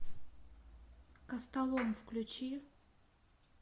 костолом включи